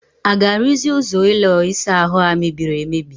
A ga-arụzi ụzọ ụlọ ịsa ahụ a mebiri emebi?